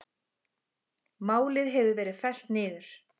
Málið hefur verið fellt niður.